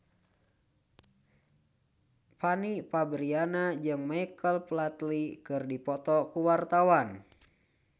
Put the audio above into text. Fanny Fabriana jeung Michael Flatley keur dipoto ku wartawan